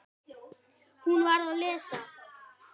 Hún var að lesa